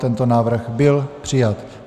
Tento návrh byl přijat.